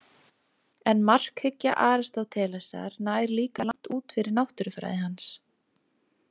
En markhyggja Aristótelesar nær líka langt út fyrir náttúrufræði hans.